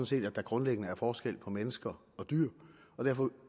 set at der grundlæggende er forskel på mennesker og dyr og derfor